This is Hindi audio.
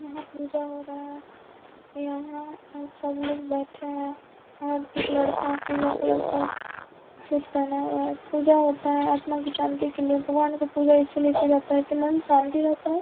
यहाँ पूजा हो रहा है यहाँ सब लोग बैठे हैं और एक लड़का पीला कलर का सूट पहना हुआ है पूजा होता है आत्मा की शांति के लिए भगवान की पूजा इसलिए की जाती है की मन शांत रहता है।